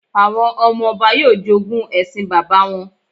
Àwọn ọmọ-ọba yóò jogún ẹṣin bàbá wọn